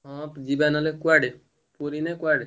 ହଁ ଯିବା ନହେଲେ କୁଆଡେ ପୁରୀ ନାଁ କୁଆଡେ?